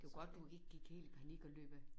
Det var godt du ikke gik helt i panik og løb af